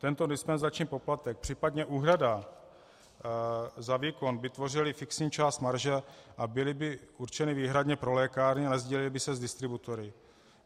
Tento dispenzační poplatek, případně úhrada za výkon by tvořily fixní část marže a byly by určeny výhradně pro lékárny a nesdílely by se s distributory.